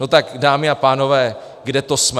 No tak dámy a pánové, kde to jsme?